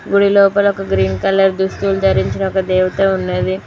గుడి లోపల ఒక గ్రీన్ కలర్ దుస్తులు ధరించిన ఒక దేవత ఉన్నది